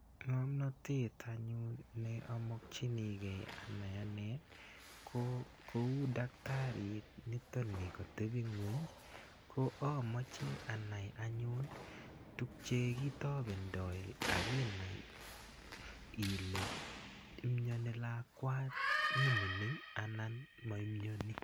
Ng'omnotet anyun neamokchinikei anai ane ko kou daktarit nitoni katepingweny ko amoche anai anyun tukche kitopendoi akinai ile imioni lakwani mining anan maimioni.